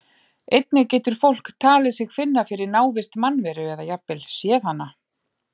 Einnig getur fólk talið sig finna fyrir návist mannveru eða jafnvel séð hana.